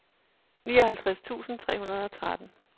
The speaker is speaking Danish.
nioghalvtreds tusind tre hundrede og tretten